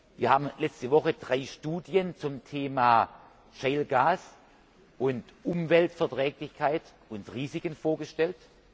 Wir haben letzte Woche drei Studien zum Thema shale gas und Umweltverträglichkeit und Risiken vorgestellt.